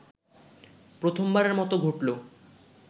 প্রথমবারের মতো ঘটলো